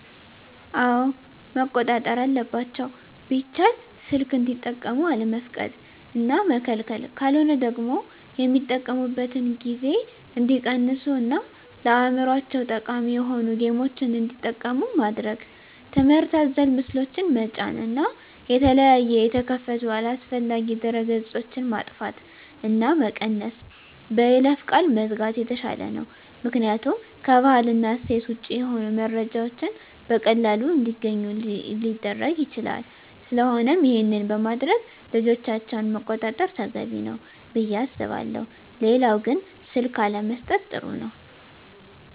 አወ መቆጣጠር አለባቸው ቢቻል ሰልክ እንዲጠቀሙ አለመፍቀድ እና መከልከል ካለሆነ ደግሞ የሚጠቀሚበትን ጊዜ እንዲቀንሡ እና ለአዕምሮቸው ጠቃሚ የሆኑ ጌምችን እንዲጠቀሙ ማድረግ ትምህርት አዘል ምስሎችን ጠጫን እና የተለያየ የተከፈቱ አላስፈላጊ ድህረ ገፆች ማጥፍት እና መቀነስ በይለፈ ቃል መዝጋት የተሻለ ነው ምክኒያቱም ከባህል እና እሴት ወጭ የሆኑ መረጃዎችን በቀላሉ እንዲገኙ ሊረግ ይችላል ስለቆነም ይሄን በማድረግ ልጆቻቸውን መቆጣጠር ተገቢ ነው። ብየ አስባለሁ ሌላው ግን ስልክ አለመሠጠት ጥሩ ነው